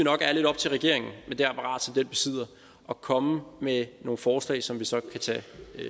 nok er lidt op til regeringen med det apparat som den besidder at komme med nogle forslag som vi så kan tage